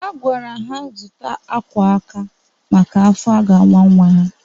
A gwara ha zụta akwa aka maka afọ a ga-awa nwa ha.